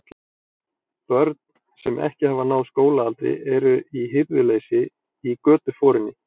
Börn, sem ekki hafa náð skólaaldri, eru í hirðuleysi í götuforinni.